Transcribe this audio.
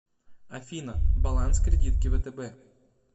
афина баланс кредитки втб